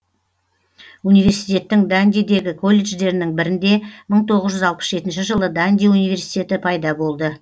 университеттің дандидегі колледждерінің бірінде мың тоғыз жүз алпыс жетінші жылы данди университеті пайда болды